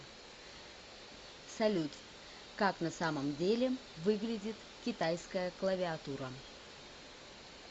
салют как на самом деле выглядит китайская клавиатура